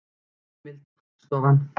Heimild: Hagstofan.